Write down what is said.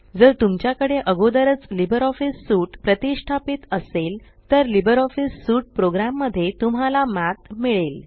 जर तुमच्या कडे अगोदरच लिबर ऑफीस सूट प्रतिष्ठापीत असेल तर लिबर ऑफीस सूट प्रोग्राम मध्ये तुम्हाला मठ मिळेल